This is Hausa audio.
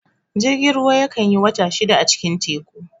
Jirgin ruwa ya kan yi wata shida a cikin teku